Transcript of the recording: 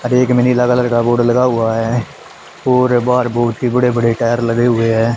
एक मिनी अलग अलग का बोर्ड लगा हुआ है पूरे बाहर बहोत ही बड़े बड़े टायर लगे हुए हैं।